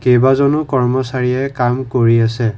কেইবাজনো কৰ্মচাৰিয়ে কাম কৰি আছে।